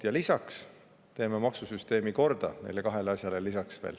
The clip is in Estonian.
Ja lisaks teeme maksusüsteemi korda, neile kahele asjale veel lisaks.